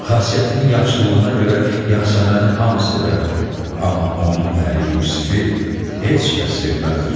Xasiyyətinin yaxşılığına görə Yasəməni hamı sevərdi, amma onun əri Yusifi heç kəs sevməzdi.